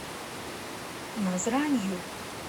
назранью